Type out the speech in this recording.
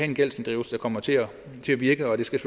en gældsinddrivelse der kommer til at virke og det skal